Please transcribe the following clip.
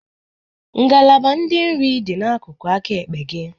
Ngalaba ndị nri dị n'akụkụ aka ekpe gị.